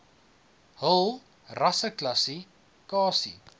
hul rasseklassi kasie